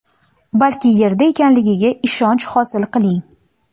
balki yerda ekanligiga ishonch hosil qiling.